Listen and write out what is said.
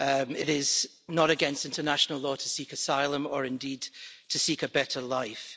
It is not against international law to seek asylum or indeed to seek a better life.